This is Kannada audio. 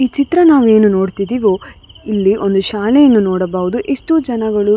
ಈ ಚಿತ್ರ ನಾವು ಏನು ನೋಡುತಿದ್ದೀವೋ ಇಲ್ಲಿ ಒಂದು ಶಾಲೆಯನ್ನ ನೋಡಬಹುದು ಎಷ್ಟೋ ಜನಗಳು --